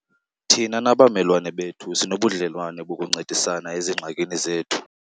Thina nabamelwane bethu sinobudlelwane bokuncedisana ezingxakini zethu.